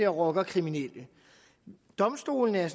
rockerkriminelle og domstolene er